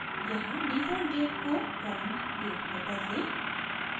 यहाँ default date को current date में बदलें